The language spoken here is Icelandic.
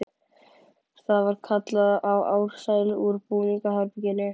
Það var kallað á Ársæl úr búningsherberginu.